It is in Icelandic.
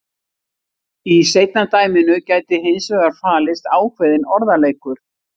Í seinna dæminu gæti hins vegar falist ákveðinn orðaleikur.